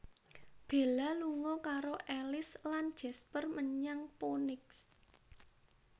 Bella lunga karo Alice lan Jasper menyang Phoenix